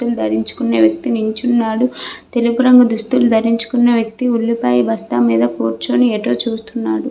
నలుపు రంగు దుస్తులు ధరించిన వ్యక్తి నించున్నాడు. తెలుపు రంగు దుస్తులు ధరించిన వ్యక్తి ఉల్లిపాయ బస్తా మీద కూర్చుని ఎటో చూస్తున్నాడు.